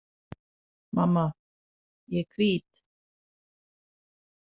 Mamma,- ég er hvít